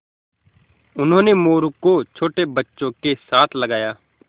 उन्होंने मोरू को छोटे बच्चों के साथ लगाया